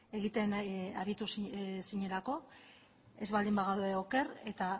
egiten ari zinelako ez baldin bagaude oker eta